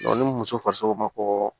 ni muso farisogo ma ko